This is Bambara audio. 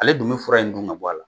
Ale dun bɛ fura in dun ka bɔ a la